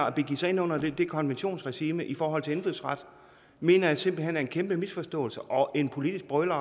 at begive sig ind under det konventionsregime i forhold til indfødsret mener jeg simpelt hen er en kæmpe misforståelse og en politisk brøler